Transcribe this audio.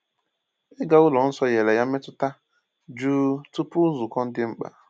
Ịga ụlọ nsọ nyere ya mmetụta jụụ tupu nzukọ dị mkpa.